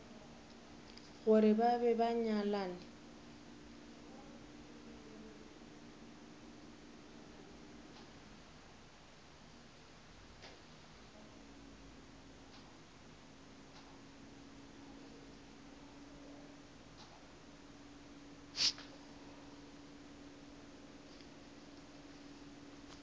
gore ba be ba nyalane